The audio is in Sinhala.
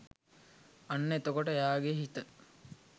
අන්න එතකොට එයාගෙ හිත